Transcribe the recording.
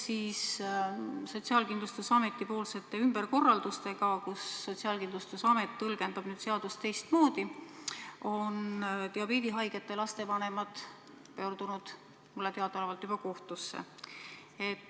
Seoses Sotsiaalkindlustusameti-poolsete ümberkorraldustega, mistõttu Sotsiaalkindlustusamet tõlgendab nüüd seadust teistmoodi, on diabeedihaigete laste vanemad pöördunud mulle teadaolevalt juba kohtusse.